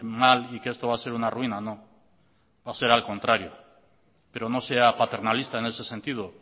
mal y que esto va a ser una ruina no va a ser al contrario pero no sea paternalista en ese sentido